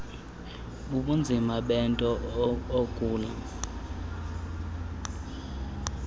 kubunzima bento ogula